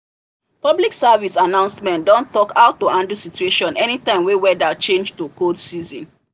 public service announcement don talk how to handle situation anytime wey weather change to cold season